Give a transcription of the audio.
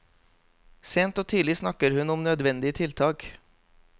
Sent og tidlig snakker hun om nødvendige tiltak.